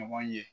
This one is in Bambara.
Ɲɔgɔn ye